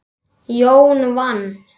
Jón vann.